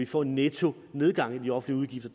få en nettonedgang i de offentlige